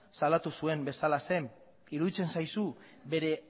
salatu zuen bezalaxe iruditzen zaizu bere